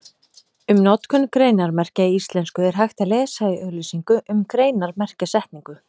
Um notkun greinarmerkja í íslensku er hægt að lesa í auglýsingu um greinarmerkjasetningu.